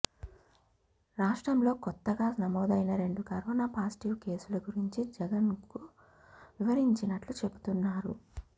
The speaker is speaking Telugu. రాష్ట్రంలో కొత్తగా నమోదైన రెండు కరోనా పాజిటివ్ కేసుల గురించి జగన్కు వివరించినట్లు చెబుతున్నారు